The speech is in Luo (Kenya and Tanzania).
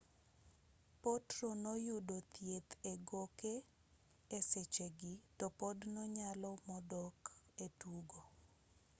potro noyudo thieth egoke esechegi topod nonyalo modok etugo